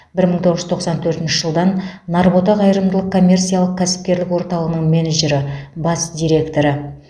бір мың тоғыз жүз тоқсан төртінші жылдан нарбота қайырымдылық коммерциялық кәсіпкерлік орталығының менеджері бас директоры